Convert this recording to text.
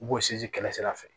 U b'o sinzin kɛlɛ sira fɛ